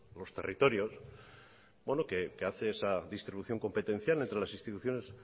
los territorios bueno que hace esa distribución competencial entre las instituciones